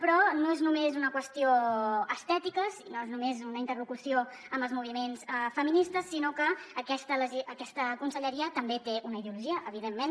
però no és només una qüestió estètica no és només una interlocució amb els moviments feministes sinó que aquesta conselleria també té una ideologia evidentment